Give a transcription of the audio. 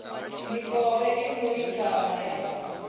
mikovhe i no lingana ya